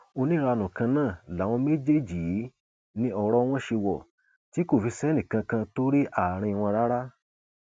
oníranú kan náà làwọn méjèèjì yìí ní ọrọ wọn ṣe wò tí kò fi sẹnìkànkan tó rí àárín wọn rárá